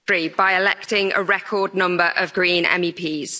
by electing a record number of Green MEPs.